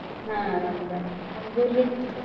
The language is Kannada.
ಹಾ ಅರಾಮ್ ಅದಾರ್ರೀ. ಹುಡ್ಗೂರ್ರೀ?